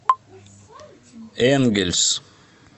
энгельс